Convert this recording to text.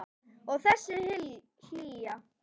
Og þessi hlýja.